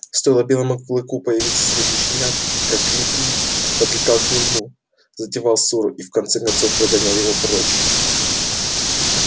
стоило белому клыку появиться среди щенят как лип лип подлетал к нему затевал ссору и в конце концов прогонял его прочь